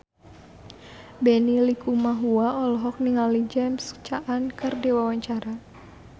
Benny Likumahua olohok ningali James Caan keur diwawancara